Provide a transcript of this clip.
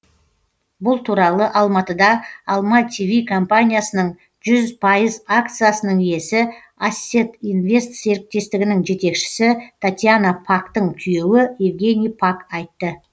бұл туралы алматыда алма тв компаниясының жүз пайыз акциясының иесі ассет инвест серіктестігінің жетекшісі татьяна пактың күйеуі евгений пак айтты